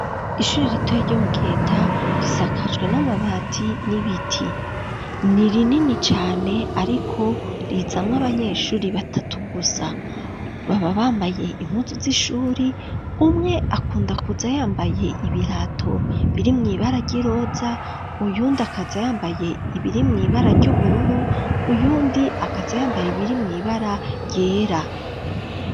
Ishuri ritoyi ryo mu Giheta risakajwe n'amabati n'ibiti, ni rinini cane ariko rizamwo abanyeshure batatu gusa, baba bambaye impuzu z'ishuri, umwe akunda kuza yambaye ibirato birimwo ibara ry'iroza, uyundi akaza yambaye ibirimwo ibara ry'ubururu, uyundi akaza yambaye ibirimwo ibara ryera.